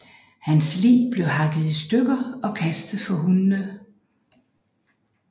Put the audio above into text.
Hans lig blev hakket i stykker og kastet for hundene